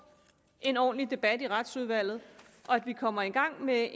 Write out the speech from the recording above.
en ordentlig debat i retsudvalget og at vi kommer i gang med